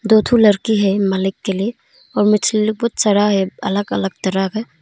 दो ठो लड़की है अलग अलग तरह का।